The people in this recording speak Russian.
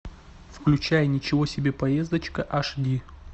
включай ничего себе поездочка аш ди